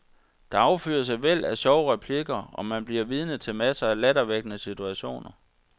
Der affyres et væld af sjove replikker, og man bliver vidne til masser af lattervækkende situationer.